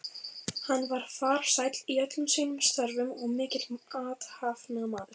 Hann var farsæll í öllum sínum störfum og mikill athafnamaður.